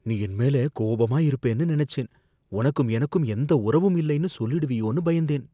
நீ என் மேல கோபமா இருப்பேன்னு நினைச்சேன், உனக்கும் எனக்கும் எந்த உறவும் இல்லைன்னு சொல்லிடுவியோன்னு பயந்தேன்